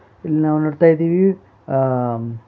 ಇಲ್ಲಿ ನಾವು ನೋಡ್ತಾ ಇದೀವಿ ಆ--